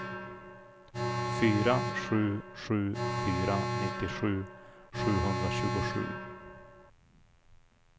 fyra sju sju fyra nittiosju sjuhundratjugosju